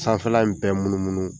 Sanfɛ la in bɛɛ munu munu.